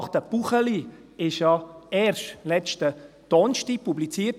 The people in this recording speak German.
Das Gutachten Buchli wurde ja erst letzten Donnerstag publiziert.